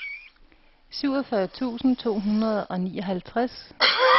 syvogfyrre tusind to hundrede og nioghalvtreds